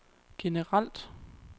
generelt